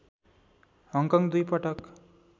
Hong Kong दुई पटक